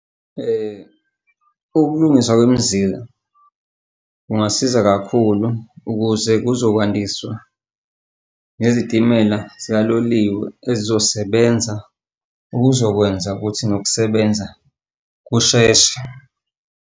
Ukulungiswa kwemizila kungasiza kakhulu ukuze kuzokwandiswa nezitimela zika loliwe ezizosebenza okuzokwenza ukuthi nokusebenza kusheshe.